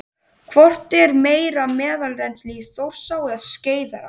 Hvort er meira meðalrennsli í Þjórsá eða Skeiðará?